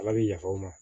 Ala bi yafa o ma